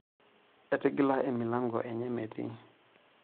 Etigila emilango enye metii.